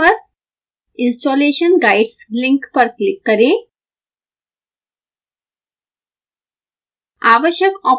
web page पर installation guides link पर click करें